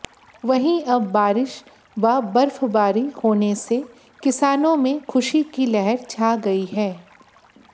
वहीं अब बारिश व बर्फबारी होने से किसानों में खुशी की लहर छा गई है